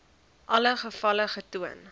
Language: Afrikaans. alle gevalle getoon